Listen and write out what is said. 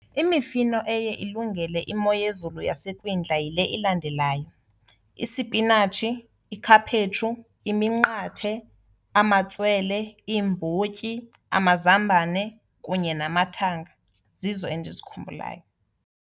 Imifino eye ilungele imo yezulu yasekwindla yile ilandelayo, isipinatshi, ikhaphetshu iminqathe, amatswele, iimbotyi, amazambane kunye namathanga, zizo endizikhumbulayo.